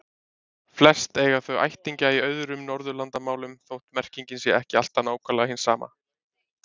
Flest eiga þau ættingja í öðrum Norðurlandamálum þótt merkingin sé ekki alltaf nákvæmlega hin sama.